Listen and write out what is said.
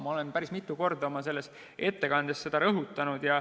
Ma olen seda päris mitu korda oma ettekandes rõhutanud.